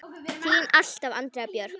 Þín alltaf, Andrea Björk.